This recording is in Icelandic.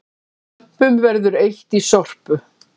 Lömpum verður eytt í Sorpu